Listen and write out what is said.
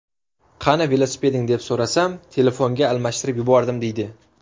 Qani velosipeding, deb so‘rasam telefonga almashtirib yubordim, deydi.